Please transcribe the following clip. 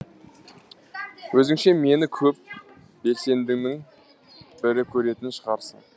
өзіңше мені көп белсендінің бірі көретін шығарсың